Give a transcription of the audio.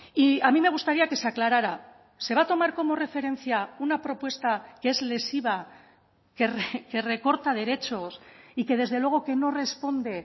y a mí me gustaría que se aclarara se va a tomar como referencia una propuesta que es lesiva que recorta derechos y que desde luego que no responde